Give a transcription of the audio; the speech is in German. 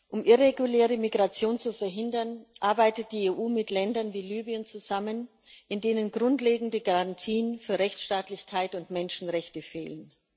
Um irreguläre Migration zu verhindern, arbeitet die EU mit Ländern wie Libyen zusammen, in denen grundlegende Garantien für Rechtsstaatlichkeit und Menschenrechte fehlen.